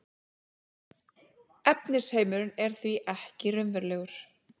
efnisheimurinn er því ekki raunverulegur